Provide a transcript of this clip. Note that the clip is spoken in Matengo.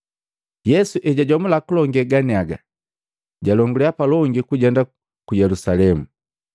Yesu hejajomula kulonge ganiaga, jalongulya palongi kujenda ku Yelusalemu.